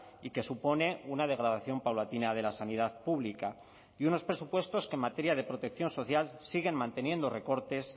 y que supone una degradación paulatina de la sanidad pública y unos presupuestos que en materia de protección social siguen manteniendo recortes